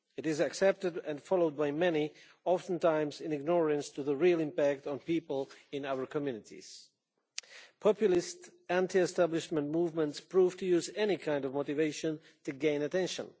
It is accepted and followed by many, often in ignorance of its real impact on people in our communities. Populist, anti establishment movements use any kind of motivation to gain attention.